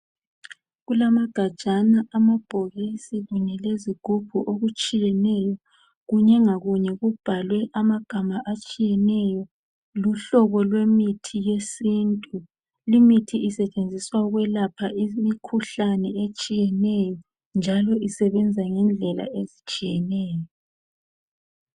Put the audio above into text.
kulamagajana ,amabhokisi kanye lezigubhu okutshiyeneyo ,kunye ngakunye kubhalwe amagama atshiyeneyo ,luhlobo lwe mithi lwesintu ,limithi isetshenziswa ukwelapha imkhuhlane etshiyeneyo njalo isebenza ngendlela ezitshiyeneyo